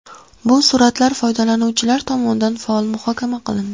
Bu suratlar foydalanuvchilar tomonidan faol muhokama qilindi.